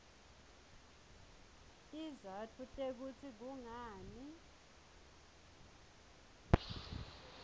tizatfu tekutsi kungani